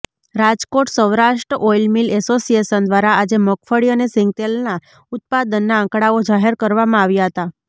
Rajkot Saurashtra oil mill association દ્વારા આજે મગફળી અને સીંગતેલના ઉત્પાદનના આંકડાઓ જાહેર કરવામાં આવ્યા હતા